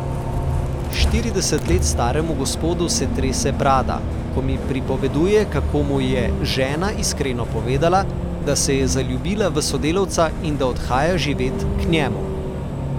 Štirideset let staremu gospodu se trese brada, ko mi pripoveduje, kako mu je žena iskreno povedala, da se je zaljubila v sodelavca in da odhaja živet k njemu.